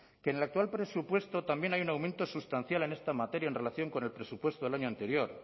que en el actual presupuesto también hay un aumento sustancial en esta materia en relación con el presupuesto del año anterior